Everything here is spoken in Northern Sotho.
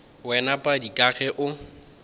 wena padi ka ge o